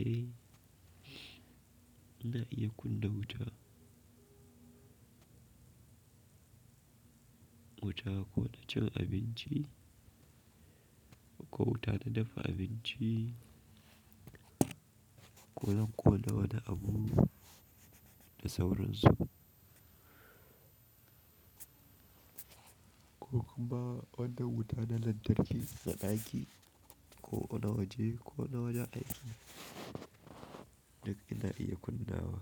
eh, ina iya kunna wuta. Wuta ko na cin abinci ko wuta na dafa abinci ko zan ƙona wani abu da sauransu. Ko kuma wanan wuta na lantarki na ɗaki ko na waje ko na wajen aiki duk ina iya kunnawa.